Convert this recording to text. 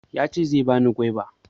Yace zai bani gwaiba